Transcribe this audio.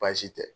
Baasi tɛ